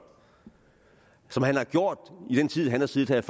som han har gjort i den tid han har siddet her